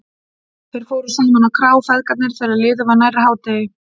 Þeir fóru saman á krá, feðgarnir, þegar liðið var nærri hádegi.